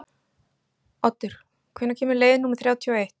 Oddur, hvenær kemur leið númer þrjátíu og eitt?